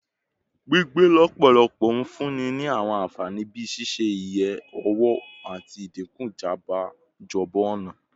Gbigbe lọpọlọpọ n funni ni awọn anfani bii ṣiṣe-iye owo ati idinku ijabọ ọna